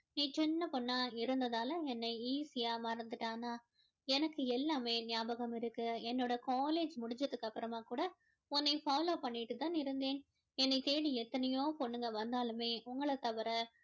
நீ சின்ன பொண்ணா இருந்ததால என்னை easy யா மறந்துட்ட ஆனா எனக்கு எல்லாமே நியாபகம் இருக்கு என்னோட college முடிஞ்சதுக்கு அப்பறமா கூட உன்ன follow பண்ணிட்டு தான் இருந்தேன் என்னை தேடி எத்தனையோ பொண்ணுங்க வந்தாலுமே உங்கள தவிர